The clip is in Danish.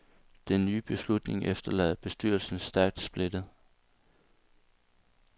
Den nye beslutning efterlader bestyrelsen stærkt splittet.